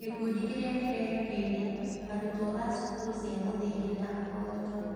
Gĩkundi kĩrĩa kĩrerekeirio: Arutwo a cukuru cia mũthingi na ahoi toro.